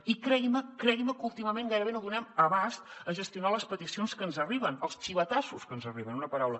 i cregui’m cregui’m que últimament gairebé no donem l’abast a gestionar les peticions que ens arriben els xivatassos que ens arriben en una paraula